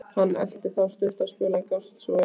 Hann elti þá stuttan spöl, en gafst svo upp.